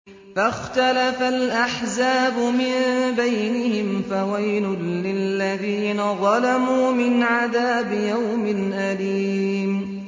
فَاخْتَلَفَ الْأَحْزَابُ مِن بَيْنِهِمْ ۖ فَوَيْلٌ لِّلَّذِينَ ظَلَمُوا مِنْ عَذَابِ يَوْمٍ أَلِيمٍ